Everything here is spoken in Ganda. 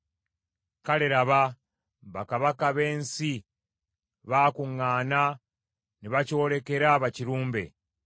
Kale laba, bakabaka b’ensi baakuŋŋaana ne bakyolekera bakirumbe;